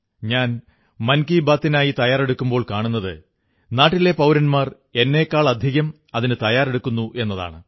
ഞാൻ മൻ കീ ബാത്തിനായി തയ്യാറെടുക്കുമ്പോൾ കാണുത് നാട്ടിലെ പൌരന്മാർ എന്നെക്കാളധികം അതിനു തയ്യാറെടുക്കുന്നു എന്നതാണ്